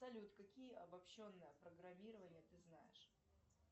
салют какие обобщенные программирования ты знаешь